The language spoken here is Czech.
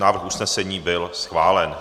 Návrh usnesení byl schválen.